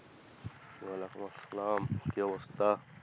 ওয়ালেকুম আস্সালাম, কি অবস্থা?